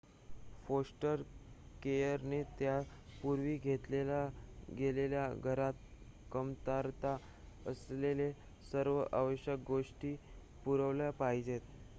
foster केयरने त्या पूर्वी घेतल्या गेलेल्या घरात कमतरता असलेल्या सर्व आवश्यक गोष्टी पुरवल्या पाहिजेत